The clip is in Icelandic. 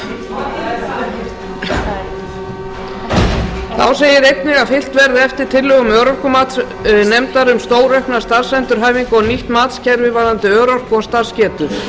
sína þá segir einnig að fylgt verði eftir tillögum örorkumatsnefndar um stóraukna starfsendurhæfingu og nýtt matskerfi varðandi örorku og starfsgetu